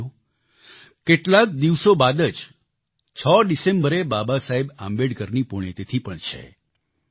સાથીઓ કેટલાક દિવસો બાદ જ 6 ડિસેમ્બરે બાબા સાહેબ આંબેડકરની પુણ્યતિથી પણ છે